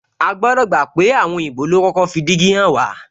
A gbodo pé àwọn òyìnbó lo kọ́kọ́ fi dígí hàn wá